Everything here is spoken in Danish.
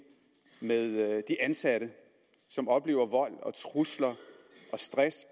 med at de ansatte oplever vold trusler og stress